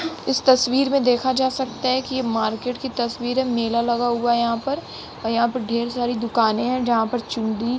इस तस्वीर में देखा जा सकता है कि ये मार्केट की तस्वीर है। मेला लगा हुआ है यहां पर और यहां पर ढ़ेर सारी दुकानें हैं जहां पर चुड़ी --